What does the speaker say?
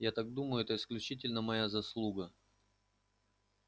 я так думаю это исключительно моя заслуга